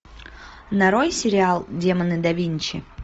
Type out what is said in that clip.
нарой сериал демоны да винчи